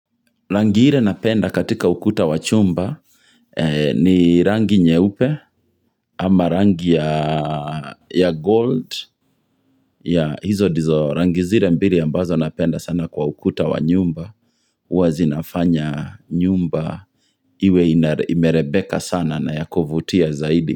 Rangi ile napenda katika ukuta wa chumba. Ni rangi nyeupe ama rangi ya gold ya hizo ndizo. Rangi zile mbili ambazo napenda sana kwa ukuta wa nyumba, huwa zinafanya nyumba iwe imerebeka sana na ya kovutia zaidi.